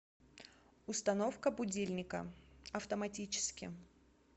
установка будильника автоматически